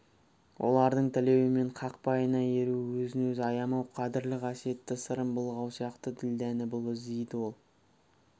олардың тілеуі мен қақпайына еру өзін-өзі аямау қадірлі қасиетті сырын былғау сияқты ділдәні бұл іздейді ол